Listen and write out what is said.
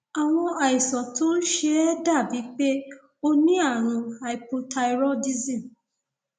àwọn àìsàn tó ń ṣe ẹ dàbíi pé o ní ààrùn hypothyroidism